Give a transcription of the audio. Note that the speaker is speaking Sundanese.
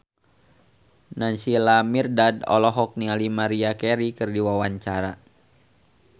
Naysila Mirdad olohok ningali Maria Carey keur diwawancara